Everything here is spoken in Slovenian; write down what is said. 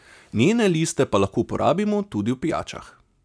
Njene liste pa lahko uporabimo tudi v pijačah.